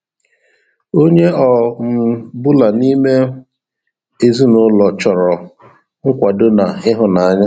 Onye ọ um bụla n'ime ezinụlọ chọrọ nkwado na ịhụnanya